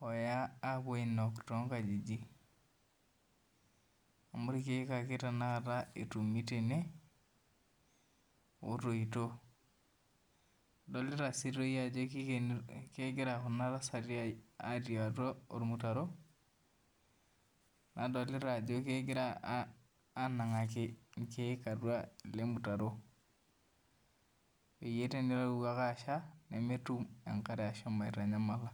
oya apuo ainok tonkajijik, amu irkeek ake tanakata etumi tene, otoito. Adolita si toi ajo kegira kuna tasati atii atua ormutaro, nadolita ajo kegira anang'aki irkeek atua ele mutaro. Peyie teneewuo ake asha, nemetum enkare ashomo aitanyamala.